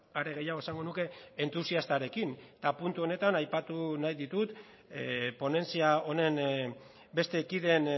are gehiago esango nuke entusiastarekin eta puntu honetan aipatu nahi ditut ponentzia honen beste kideen